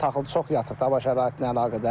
Taxıl çox yatıq da hava şəraiti ilə əlaqədar.